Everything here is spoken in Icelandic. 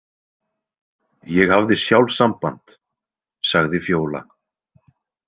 Ég hafði sjálf samband, sagði Fjóla.